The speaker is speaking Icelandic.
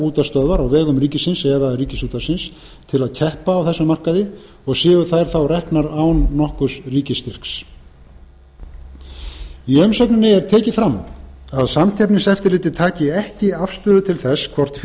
útvarpsstöðvar á vegum ríkisins eða ríkisútvarpsins til að keppa á þeim markaði og séu þær þá reknar án nokkurs ríkisstyrks í umsögninni er tekið fram að samkeppniseftirlitið taki ekki afstöðu til þess hvort